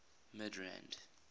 midrand